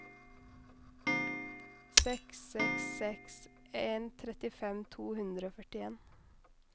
seks seks seks en trettifem to hundre og førtien